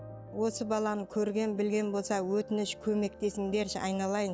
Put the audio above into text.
осы баланы көрген білген болса өтініш көмектесіңдерші айналайын